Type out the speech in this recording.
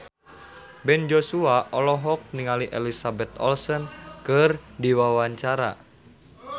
Ben Joshua olohok ningali Elizabeth Olsen keur diwawancara